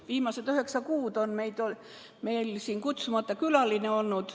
Viimased üheksa kuud on meil siin olnud kutsumata külaline.